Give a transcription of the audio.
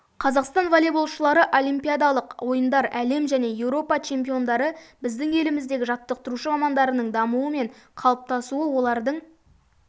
қазақстан волейболшылары олимпиадалық ойындар әлем және еуропа чемпиондары біздің еліміздегі жаттықтырушы мамандарының дамуы мен қалыптасуы олардың